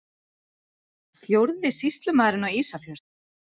Fjórði sýslumaðurinn á Ísafjörð!